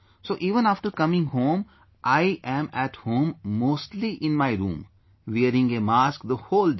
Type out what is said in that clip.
So even after coming home, I am at home mostly in my room, wearing a mask the whole day